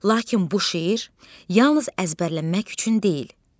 Lakin bu şeir yalnız əzbərləmək üçün deyil.